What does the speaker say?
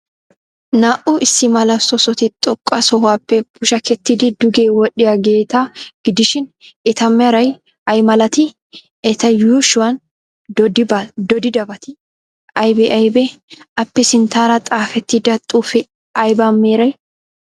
Naa''u issi mala soossoti xoqqa sohuwaappe pushakettiiddi duge wodhdhiyaageeta gidishin, eta meray ay malatii? Eta yuushshuwan dooddidabati aybee aybee? Appe sinttaara xaafettida xuufee aybaa meree?